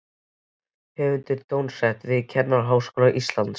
Höfundur er dósent við Kennaraháskóla Íslands.